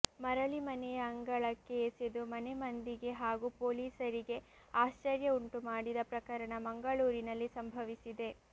ಮರಳಿ ಮನೆಯ ಅಂಗಳಕ್ಕೆ ಎಸೆದು ಮನೆ ಮಂದಿಗೆ ಹಾಗೂ ಪೊಲೀಸರಿಗೆ ಆಶ್ಚರ್ಯ ಉಂಟು ಮಾಡಿದ ಪ್ರಕರಣ ಮಂಗಳೂರಿನಲ್ಲಿ ಸಂಭವಿಸಿದೆ